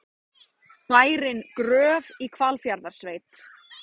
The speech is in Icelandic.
Bærinn Gröf í Hvalfjarðarsveit.